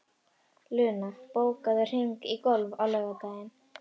Luna, bókaðu hring í golf á laugardaginn.